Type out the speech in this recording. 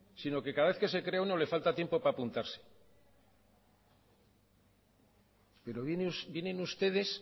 sino que cada vez que se crea uno le falta tiempo para apuntarse pero vienen ustedes